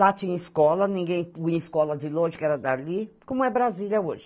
Lá tinha escola, ninguém ia em escola de longe, que era dali, como é Brasília hoje.